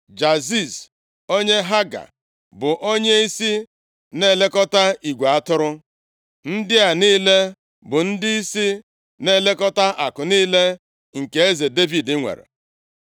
Jaziz onye Haga bụ onyeisi na-elekọta igwe atụrụ. Ndị a niile bụ ndịisi na-elekọta akụ niile nke eze Devid nwere.